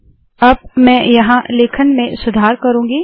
अब मैं यहाँ लेखन में सुधार करुँगी